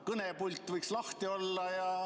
Kõnepult võiks lahti olla.